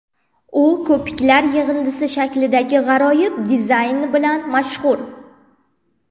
U ko‘piklar yig‘indisi shaklidagi g‘aroyib dizayni bilan mashhur.